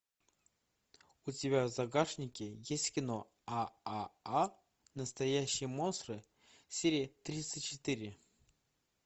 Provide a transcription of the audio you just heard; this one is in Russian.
у тебя в загашнике есть кино а а а настоящие монстры серия тридцать четыре